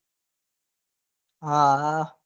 હા હા